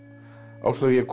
Áslaug ég er komin